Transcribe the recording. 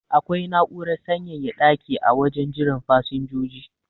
Akwai na'urar sanyaya daki a wajen jiran fasinjoji